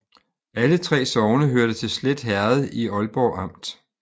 Alle 3 sogne hørte til Slet Herred i Aalborg Amt